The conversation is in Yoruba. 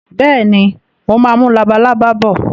Bẹ́ẹ̀ni, mo máa mú labalábá bọ̀